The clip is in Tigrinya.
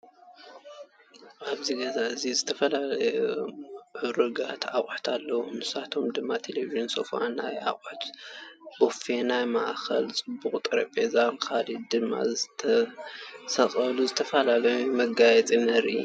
ኣብዚ ገዛ እዚ ዝተፈላለዩ ሙዑሩጋት ኣቁሑት ኣለዉ። ንሳቶም ድማ ቴሌብጅን፣ ሶፋ፣ ናይ ኣቁሑት ቦፌ፣ ናይ ማእከል ፅቡቅ ጠሬቤዛን ካሊእ ድማ ዝተሰቀሉ ዝተፈላለዩ መጋየፅታትን ንርኢ ኣለና።